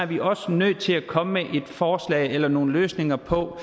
vi også nødt til at komme med et forslag eller nogle løsninger på